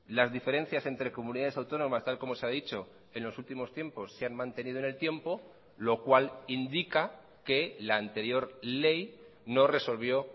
las diferencias entre comunidades autónomas tal como se ha dicho en los últimos tiempos se han mantenido en el tiempo lo cual indica que la anterior ley no resolvió